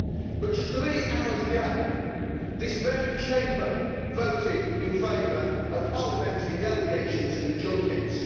But just three hours ago this very Chamber voted in favour of parliamentary delegations and junkets.